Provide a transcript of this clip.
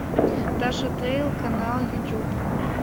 таша тейл канал ютуб